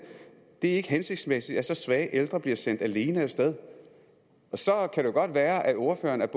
det er ikke hensigtsmæssigt at så svage ældre bliver sendt alene afsted så kan det jo godt være at ordføreren er